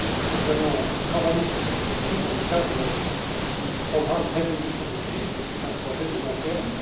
Nous allons travailler sur cette question dans le cadre du programme de résolution de crise, mais c'est un projet à long terme.